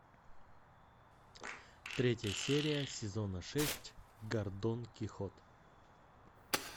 третья серия сезона шесть гордон кихот